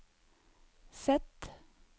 Z